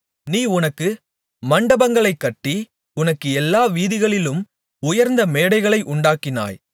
நீ உனக்கு மண்டபங்களைக் கட்டி உனக்குச் எல்லா வீதிகளிலும் உயர்ந்த மேடைகளை உண்டாக்கினாய்